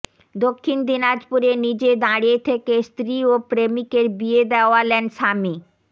দক্ষিণ দিনাজপুরে নিজে দাঁড়িয়ে থেকে স্ত্রী ও প্রেমিকের বিয়ে দেওয়ালেন স্বামী